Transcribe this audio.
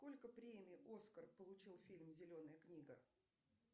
сколько премий оскар получил фильм зеленая книга